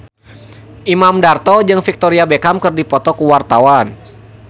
Imam Darto jeung Victoria Beckham keur dipoto ku wartawan